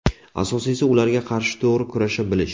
Asosiysi ularga qarshi to‘g‘ri kurasha bilish.